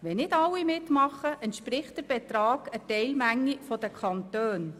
Wenn nicht alle mitmachen, entspricht der Betrag der Teilmenge der Kantone.